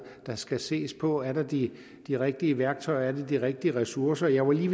der skal ses på er der de de rigtige værktøjer er der de rigtige ressourcer jeg var lige